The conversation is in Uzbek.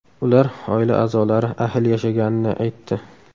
Ular oila a’zolari ahil yashaganini aytdi.